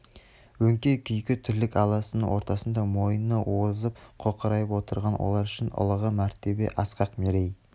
өңкей күйкі тірлік аласаның ортасында мойыны озып қоқырайып отырған олар үшін ұлығы мәртебе асқақ мерей